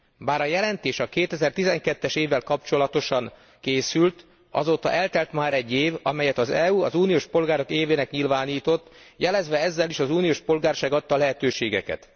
Bár a jelentés a 2012 es évvel kapcsolatosan készült, azóta eltelt már egy év, amelyet az EU az uniós polgárok évének nyilvánított, jelezve ezzel is az uniós polgárság adta lehetőségeket.